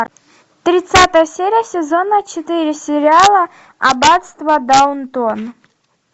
тридцатая серия сезона четыре сериала аббатство даунтон